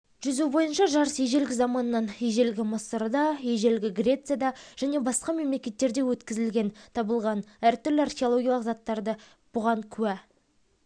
жүзу бойынша жарыс ежелгі заманнан ежелгі мысырда ежелгі грецияда және басқа мемлекеттерде өткізілген табылған әртүрлі археологиялық заттардағы суреттер бұған куә